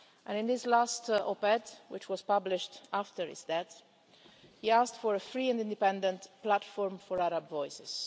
In his last op ed, which was published after his death, he asked for a free and independent platform for Arab voices.